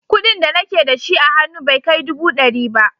Kuɗin da nake da shi a hannu bai kai dubu ɗari ba.